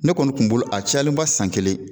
Ne kɔni tun bolo a cayalenba san kelen.